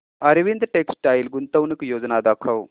Arvind textile गुंतवणूक योजना दाखव